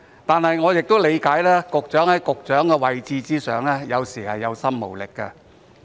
可是，我亦理解局長在其位置上，有時候是有心無力的。